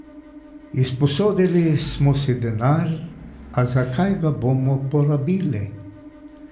Izposodili smo si denar, a za kaj ga bomo porabili?